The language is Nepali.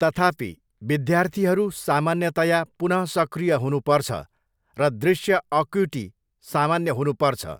तथापि, विद्यार्थीहरू सामान्यतया पुनः सक्रिय हुनुपर्छ र दृश्य अक्युटी सामान्य हुनुपर्छ।